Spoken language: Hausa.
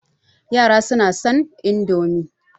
Yara suna son Indomi